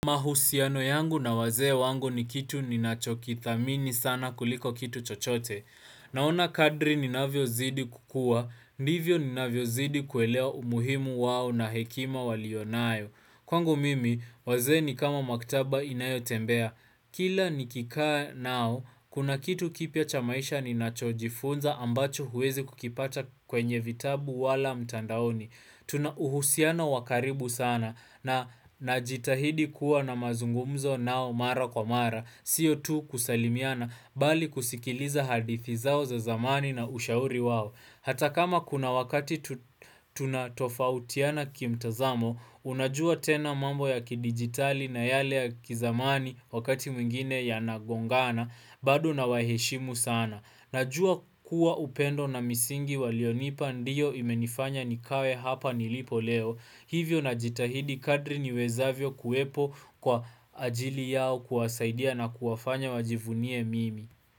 Mahusiano yangu na wazee wangu ni kitu ninachokithamini sana kuliko kitu chochote. Naona kadri ninavyozidi kukua, ndivyo ninavyozidi kuelewa umuhimu wao na hekima walionayo. Kwangu mimi, wazee ni kama maktaba inayotembea. Kila nikikaa nao, kuna kitu kipya cha maisha ninachojifunza ambacho huwezi kukipata kwenye vitabu wala mtandaoni. Tuna uhusiana wakaribu sana na najitahidi kuwa na mazungumzo nao mara kwa mara, sio tu kusalimiana mbali kusikiliza hadithi zao za zamani na ushauri wao. Hata kama kuna wakati tunatofautiana kimtazamo, unajua tena mambo ya kidigitali na yale ya kizamani wakati mwingine ya nagongana, bado na waheshimu sana. Najua kuwa upendo na misingi walionipa ndiyo imenifanya nikawe hapa nilipo leo. Hivyo najitahidi kadri ni wezavyo kuwepo kwa ajili yao kuwasaidia na kuwafanya wajivunie mimi.